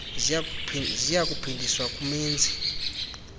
ziya kuphindiswa kumenzi